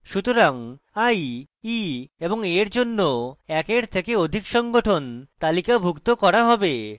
সুতরাং i e এবং a এর জন্য একের থেকে অধিক সংঘটন তালিকাভুক্ত করা হবে